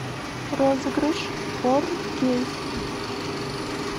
розыгрыш фор кей